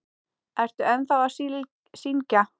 Ertu ennþá að syngja?